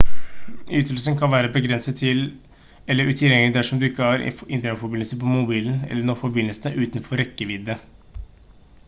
ytelsen kan være begrenset eller utilgjengelig dersom du ikke har internettforbindelse på mobilen eller når forbindelsen er utenfor rekkevidde